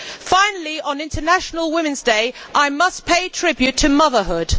Finally, on International Women's Day, I must pay tribute to motherhood.